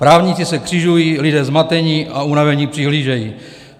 Právníci se křižují, lidé zmateni a unaveni přihlížejí.